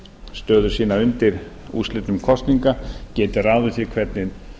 stöðu sína undir úrslitum kosninga geti ráðið því hvernig